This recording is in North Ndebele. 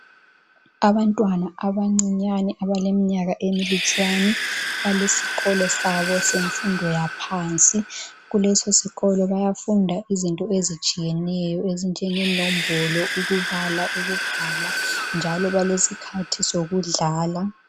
Abantwana abancinyane abaleminyaka emilutshwani. Balesikolo sabo semfundo yaphansi. Kulesosikolo bayafunda iziinto ezitshiyeneyo ezinjengeNombolo, ukubala, ukubhala, njalo balesikhathi sokudlala. .